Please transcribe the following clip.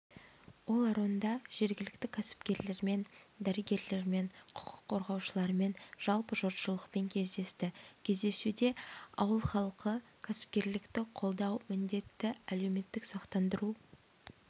оларонда жергіліктікәсіпкерлермен дәрігерлермен құқық қорғаушылармен жалпы жұртшылықпенкездесті кездесуде ауыл халқы кәсіпкерлікті қолдау міндетті әлеуметтік сақтандыру